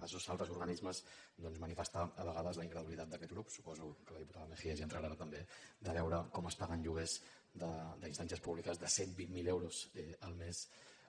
als dos altres organismes doncs manifestar a vegades la incredulitat d’aquests grups suposo que la diputada mejías hi entrarà ara també de veure com es paguen lloguers d’instàncies públiques de cent i vint miler euros al mes